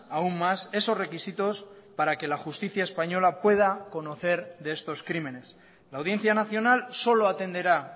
aún más esos requisitos para que la justicia española pueda conocer de estos crímenes la audiencia nacional solo atenderá